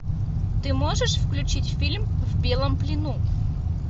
ты можешь включить фильм в белом плену